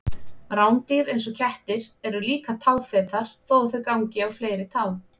Rándýr eins og kettir eru líka táfetar þó að þau gangi á fleiri tám.